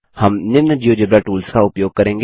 हम निम्न GeoGebra tools का उपयोग करेंगे